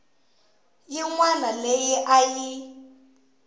yin wana leyi a yi